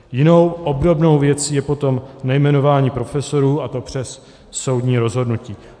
Jinou, obdobnou věcí je potom nejmenování profesorů, a to přes soudní rozhodnutí.